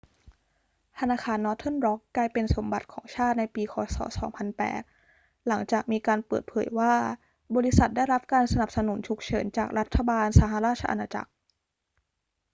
ธนาคารนอร์เทิร์นร็อกกลายเป็นสมบัติของชาติในปีค ศ. 2008 หลังจากมีการเปิดเผยว่าบริษัทได้รับการสนับสนุนฉุกเฉินจากรัฐบาลสหราชอาณาจักร